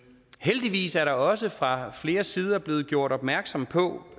heldigvis er der også fra flere sider blevet gjort opmærksom på